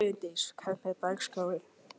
Brandís, hvernig er dagskráin?